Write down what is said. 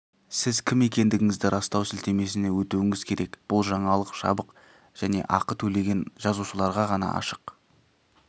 сіз кім екендігіңізді растау сілтемесіне өтуіңіз керек бұл жаңалық жабық және ақы төлеген жазылушыларға ғана ашық